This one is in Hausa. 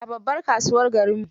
A babbar kasuwar garinmu.